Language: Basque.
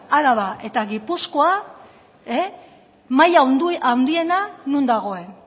araba eta gipuzkoa maila handiena non dagoen